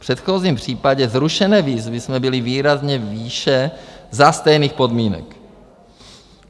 V předchozím případě zrušené výzvy jsme byli výrazně výše za stejných podmínek.